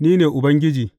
Ni ne Ubangiji.